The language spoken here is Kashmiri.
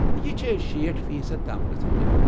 یہِ چھے٘ شیٖٹھ فی صد تام گژھان ، جناب